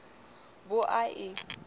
bo a e i o